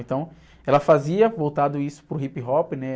Então, ela fazia, voltado isso para o hip hop, né?